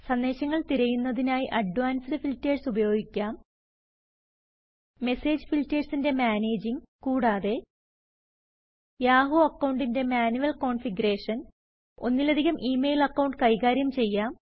സന്ദേശങ്ങൾ തിരയുന്നതിനായി advanced filters ഉപയോഗിക്കാം മെസ്സേജ് ഫിൽറ്റെർസിന്റെ മാനേജിംഗ് കൂടാതെ160 യാഹു അക്കൌണ്ടിന്റെ മാനുവൽ കോൺഫിഗറേഷൻ ഒന്നിലധികം ഇ മെയിൽ അക്കൌണ്ട് കൈകാര്യം ചെയ്യാം